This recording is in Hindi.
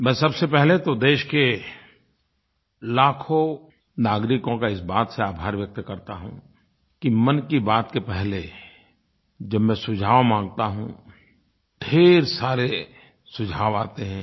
मैं सबसे पहले तो देश के लाखों नागरिकों का इस बात से आभार व्यक्त करता हूँ कि मन की बात के पहले जब मैं सुझाव माँगता हूँ ढ़ेर सारे सुझाव आते हैं